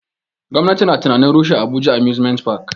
Gwamnati na tunanin rushe abuja amusement park